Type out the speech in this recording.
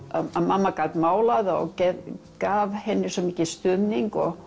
að mamma gat málað og gaf henni svo mikinn stuðning og